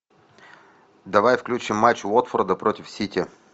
давай включим матч уотфорда против сити